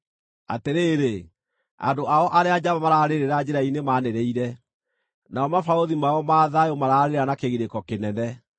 Atĩrĩrĩ, andũ ao arĩa njamba mararĩrĩra njĩra-inĩ maanĩrĩire; nao mabarũthi mao ma thayũ maraarĩra na kĩgirĩko kĩnene.